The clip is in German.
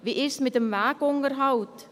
Wie ist es mit dem Wegunterhalt?